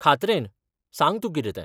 खात्रेन, सांग तूं कितें तें.